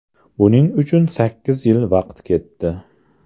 Buning uchun sakkiz yil vaqt ketdi.